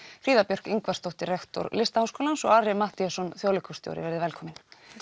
Fríða Björk Ingvarsdóttir rektor Listaháskólans og Ari Matthíasson þjóðleikhússtjóri verið velkomin